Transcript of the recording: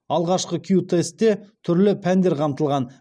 алғашқы кю тестте түрлі пәндер қамтылған